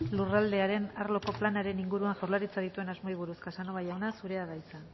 lurraldearen arloko planaren inguruan jaurlaritzak dituen asmoei buruz casanova jauna zurea da hitza